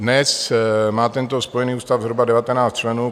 Dnes má tento Spojený ústav zhruba 19 členů.